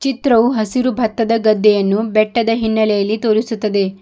ಚಿತ್ರವು ಹಸಿರು ಭತ್ತದ ಗದ್ದೆಯನ್ನು ಬೆಟ್ಟದ ಹಿನ್ನೆಲೆಯಲ್ಲಿ ತೋರಿಸುತ್ತದೆ.